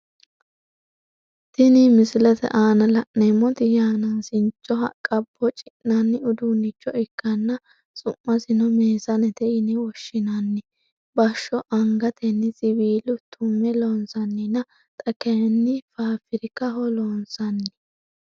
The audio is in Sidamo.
Tinni misilete aanna la'neemoti yanaasincho haqa boci'nanni uduunicho ikanna su'masino meesanete yine woshinnanni basho angatenni siwiila tume loonsanninna xa kayinni faafirikaho loonsanni.